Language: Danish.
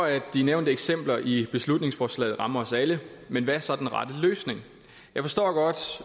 at de nævnte eksempler i beslutningsforslaget rammer os alle men hvad er så den rette løsning jeg forstår godt